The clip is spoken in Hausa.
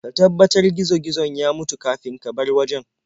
Ka tabbatar gizo-gizon ya mutu kafin ka bar wajen.